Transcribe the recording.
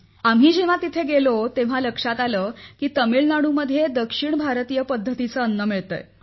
आम्ही जेव्हा तेथे गेलो तेव्हा लक्षात आले तामिळनाडूमध्ये दक्षिण भारतीय पद्धतीचे अन्न मिळते